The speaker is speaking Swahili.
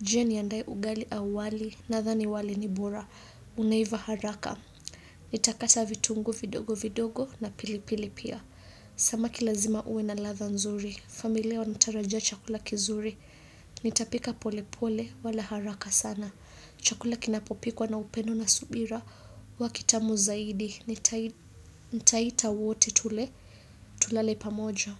Je niandae ugali au wali na dhani wali ni bura. Unaiva haraka. Nitakata vitungu vidogo vidogo na pili pili pia. Samaki lazima ue na ladha nzuri. Familia wanatarajia chakula kizuri. Nitapika pole pole wala haraka sana. Chakula kinapopikwa na upendo na subira hua kitamu zaidi nitai nitaita wote tule tulale pamoja.